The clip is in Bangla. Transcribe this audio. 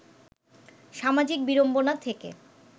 সামাজিক বিড়ম্বনা থেকে